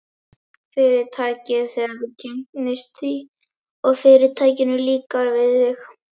Fyrirtækið, þegar þú kynnist því, og Fyrirtækinu líkar við þig.